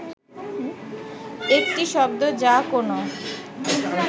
একটি শব্দ যা কোনো